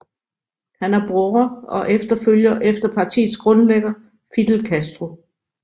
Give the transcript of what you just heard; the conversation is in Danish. Han er bror og efterfølger efter partiets grundlægger Fidel Castro